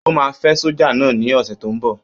Ó máa fẹ́ sójà náà ní ọ̀sẹ̀ tó n bọ̀